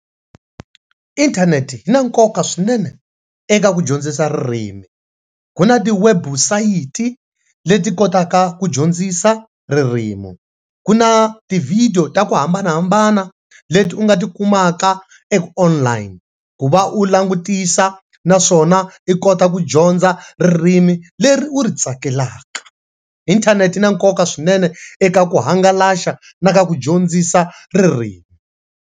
Inthanete yi na nkoka swinene eka ku dyondzisa ririmi, ku na ti website leti kotaka ku dyondzisa ririmi ku na tivhidiyo ta ku hambanahambana leti u nga tikumaka eku online ku va u langutisa naswona i kota ku dyondza ririmi leri u ri tsakelaka. Intenet-e yi na nkoka swinene eka ku hangalasa na ka ku dyondzisa ririmi.